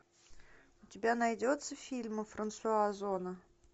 у тебя найдется фильмы франсуа озона